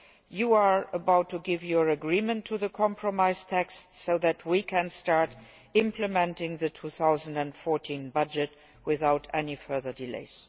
You are about to give your agreement to the compromise text so that we can start implementing the 2014 budget without any further delays.